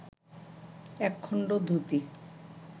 একখণ্ড dhoti